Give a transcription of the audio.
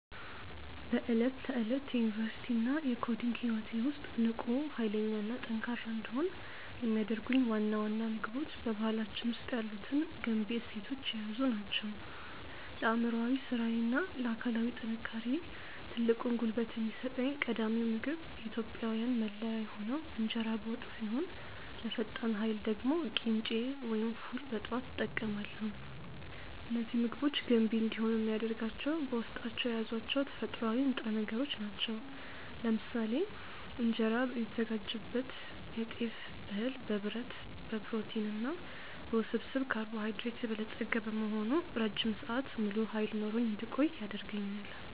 በዕለት ተዕለት የዩኒቨርሲቲ እና የኮዲንግ ህይወቴ ውስጥ ንቁ፣ ኃይለኛ እና ጠንካራ እንድሆን የሚያደርጉኝ ዋና ዋና ምግቦች በባህላችን ውስጥ ያሉትን ገንቢ እሴቶች የያዙ ናቸው። ለአእምሯዊ ስራዬ እና ለአካላዊ ጥንካሬዬ ትልቁን ጉልበት የሚሰጠኝ ቀዳሚው ምግብ የኢትዮጵያዊያን መለያ የሆነው እንጀራ በወጥ ሲሆን፣ ለፈጣን ኃይል ደግሞ ቅንጬ ወይም ፉል በጠዋት እጠቀማለሁ። እነዚህ ምግቦች ገንቢ እንዲሆኑ የሚያደርጋቸው በውስጣቸው የያዟቸው ተፈጥሯዊ ንጥረ ነገሮች ናቸው። ለምሳሌ እንጀራ የሚዘጋጅበት የጤፍ እህል በብረት፣ በፕሮቲን እና በውስብስብ ካርቦሃይድሬት የበለጸገ በመሆኑ ረጅም ሰዓት ሙሉ ኃይል ኖሮኝ እንድቆይ ያደርገኛል።